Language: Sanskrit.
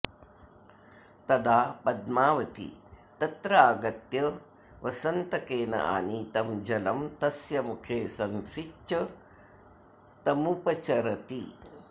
तदा पद्मावती तत्रागत्य वसन्तकेन आनीतं जलम् तस्य मुखे संसिच्य तमुपचरति